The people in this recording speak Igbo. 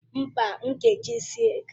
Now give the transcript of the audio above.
Mba, m ga-eji silk.